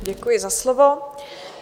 Děkuji za slovo.